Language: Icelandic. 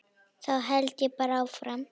Þá held ég bara áfram.